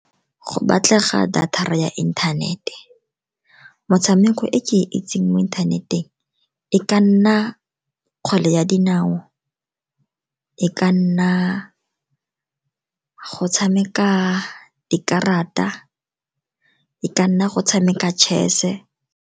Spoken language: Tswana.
Go batlega data-ra ya inthanete, motshameko e ke e itseng mo inthaneteng e ka nna kgwele ya dinao, e ka nna go tshameka dikarata, e ka nna go tshameka chess-e.